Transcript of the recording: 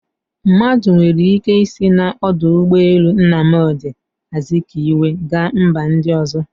Mmadụ nwere ike isi na ọdụ ụgbọ elu Nnamdi azikwe gaa mba ndị ọzọ